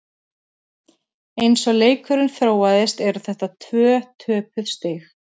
Eins og leikurinn þróaðist eru þetta tvö töpuð stig.